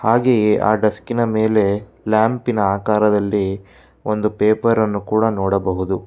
ಹಾಗೆಯೇ ಆ ಡೆಸ್ಕಿನ ಮೇಲೆ ಲ್ಯಾಂಪಿನ ಅಕಾರದಲ್ಲಿ ಒಂದು ಪೇಪರ್ ಅನ್ನು ಕೂಡ ನೋಡಬಹುದು.